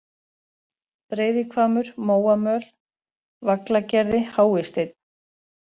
Breiðihvammur, Móamöl, Vaglagerði, Háisteinn